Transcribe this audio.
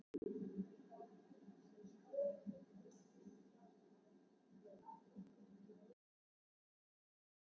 Vatnið, sem skáhallir kvöldgeislar falla á og allt um kring ævafornar eikur.